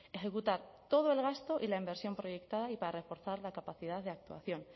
ejecutar todo el gasto y la inversión proyectada y para reforzar la capacidad de actuación